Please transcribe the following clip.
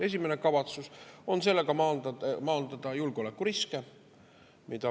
Esimene kavatsus on sellega maandada julgeolekuriske.